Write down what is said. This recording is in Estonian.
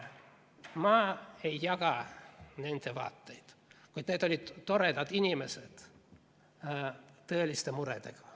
Ma ei jaga nende vaateid, kuid need olid toredad inimesed tõeliste muredega.